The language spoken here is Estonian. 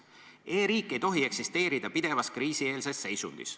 E-riik ei tohi eksisteerida pidevas kriisi-eelses seisundis.